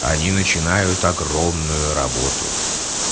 они начинают огромную работу